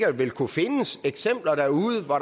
ville kunne findes eksempler derude hvor